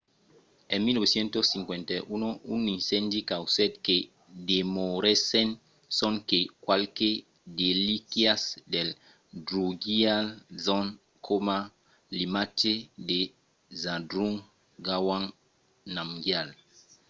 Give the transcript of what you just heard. en 1951 un incendi causèt que demorèssen sonque qualques relíquias del drukgyal dzong coma l'imatge de zhabdrung ngawang namgyal